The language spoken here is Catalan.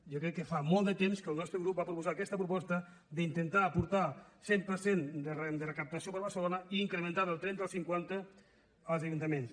jo crec que fa molts de temps que el nostre grup va proposar aquesta proposta d’intentar aportar el cent per cent de la recaptació per a barcelona i incrementar la del trenta al cinquanta als ajuntaments